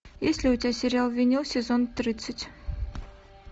есть ли у тебя сериал винил сезон тридцать